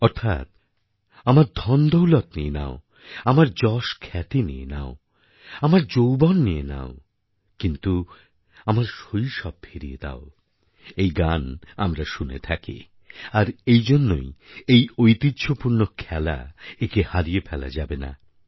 অর্থাৎ আমার ধনদৌলত নিয়ে নাও যশখ্যাতি নিয়ে নাও আমার যৌবন নিয়ে নাও কিন্তু আমার শৈশব ফিরিয়ে দাও এই গান আমরা শুনে থাকি আর এই জন্যই এই ঐতিহ্যপূর্ণ খেলা একে হারিয়ে ফেলা যাবে না